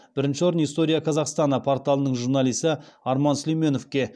бірінші орын история казахстана порталының журналисі арман сүлейменовке